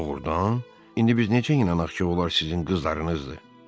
Doğrudan, indi biz necə inanaq ki, onlar sizin qızlarınızdır?